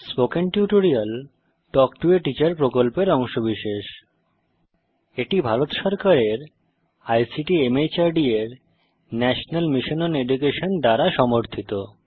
spoken tutorial talk to a teacher প্রকল্পের অংশবিশেষ এটি ভারত সরকারের আইসিটি মাহর্দ এর ন্যাশনাল মিশন ওন এডুকেশন দ্বারা সমর্থিত